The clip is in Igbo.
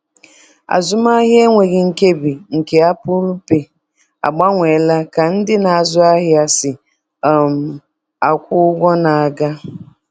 Azụmahịa enweghị nkebi nke Apple Pay agbanweela ka ndị na-azụ ahịa si um akwụ ụgwọ na-aga.